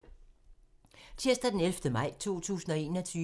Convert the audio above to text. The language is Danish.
Tirsdag d. 11. maj 2021